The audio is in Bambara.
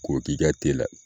K'o k'i ka te la.